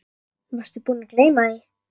Varstu búinn að gleyma því?